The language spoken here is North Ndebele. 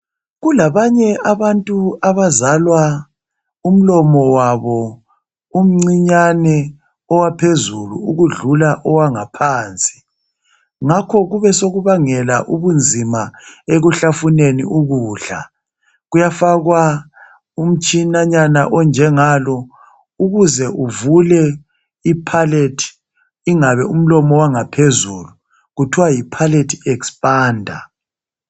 Kulabanye abantu abazalwa umlomo wabo umncinyane owaphezulu ukudlula owangaphansi, ngakho kube sokubangela ubunzima ekuhlafuneni ukudla. Kuyafakwa umtshinanyana onjengalo ukuze uvule iphalethi ingabe umlomo owangaphezulu, kuthwa yiphalethi expanda.